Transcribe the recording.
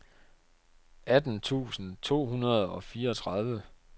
atten tusind to hundrede og fireogtredive